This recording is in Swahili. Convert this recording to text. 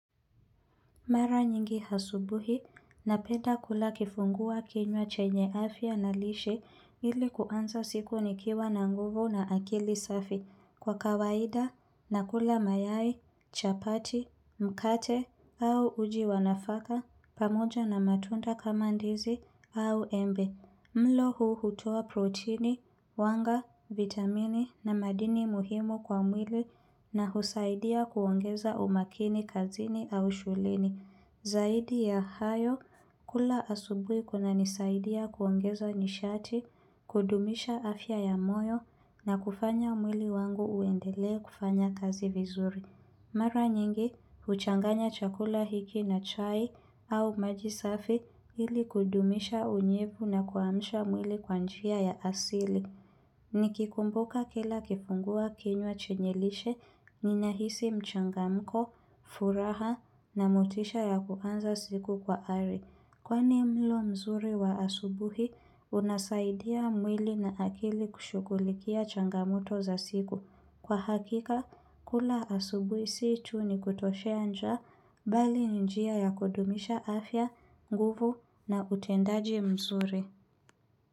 Mara nyingi hasubuhi, napenda kula kifungua kinywa chenye afia na lishe ili kuanza siku nikiwa na nguvu na akili safi kwa kawaida, nakula mayai, chapati, mkate au uji wanafaka, pamoja na matunda kama ndizi au embe. Mlo huu hutoa protini, wanga, vitamini na madini muhimu kwa mwili na husaidia kuongeza umakini kazini au shuleni. Zaidi ya hayo, kula asubui kunanisaidia kuongeza nishati, kudumisha afya ya moyo na kufanya mwili wangu uendele kufanya kazi vizuri. Mara nyingi, uchanganya chakula hiki na chai au majisafi ili kudumisha unyevu na kuamsha mwili kwa njia ya asili. Nikikumbuka kila kifungua kinywa chenye lishe, ninahisi mchangamko, furaha na motisha ya kuanza siku kwa ari. Kwani mlo mzuri wa asubuhi, unasaidia mwili na akili kushughulikia changamoto za siku. Kwa hakika, kula asubuhi situ ni kutoshea njaa bali njia ya kudumisha afya, nguvu na utendaji mzuri.